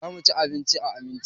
Za mu ci abinci a Aminci.